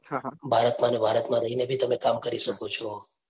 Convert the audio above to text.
ભારતમાં અને ભારતમાં રહી ને બી તમે કામ કરી શકો છો.